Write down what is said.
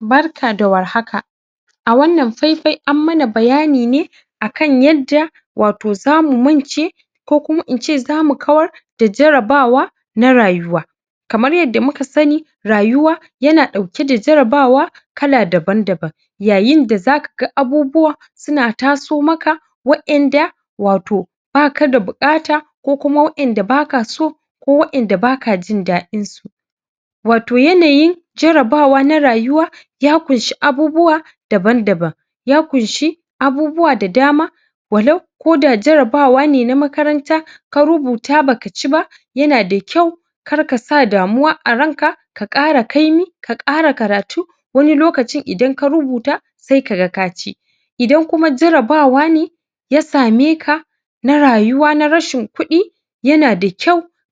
Barka da warhaka a wannan faifai an mana bayani ne akan yadda wato zamu mance ko kuma in ce zamu kawar da jarabawa na rayuwa kamar yadda muka sani rayuwa yana ɗauke da jarabawa kala daban-daban yayin da zaka ga abubuwa suna taso maka waƴanda wato baka da buƙata ko kuma waƴanda baka so ko waƴanda baka jin daɗin su wato yanayin jarabawa na rayuwa ya ƙunshi abubuwa daban-daban, ya ƙunshi abubuwa da dama walau ko da jarabawa ne na makaranta ka rubuta baka ci ba yana da kyau kar ka sa damuwa a ran ka ka ƙara kaimi ka ƙara karatu wani lokacin idan ka rubuta sai ka ga ka ci idan kuma jarabawa ne ya same ka na rayuwa na rashin kuɗi